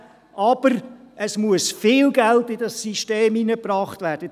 Aber es muss viel Geld in dieses System hineingebracht werden.